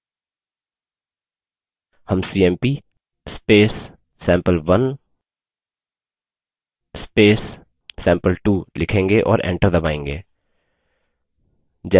हम cmp sample1 sample2 लिखेंगे और enter दबायेंगे